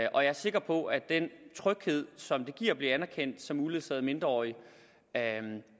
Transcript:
og jeg er sikker på at den tryghed som det giver at blive anerkendt som uledsaget mindreårig